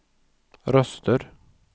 röster